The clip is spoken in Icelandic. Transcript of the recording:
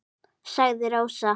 sagði Rósa.